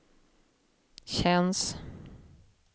känns